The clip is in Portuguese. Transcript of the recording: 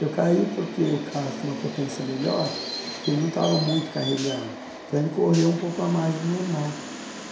Eu caí porque o carro tinha uma potência melhor e ele não estava muito carregado, então ele correu um pouco a mais do normal.